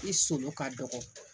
I solo ka dɔgɔ